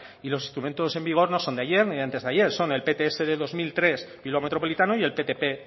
y los instrumentos en vigor no son de ayer ni de antes de ayer son el pts de dos mil tres bilbao metropolitano y el ptp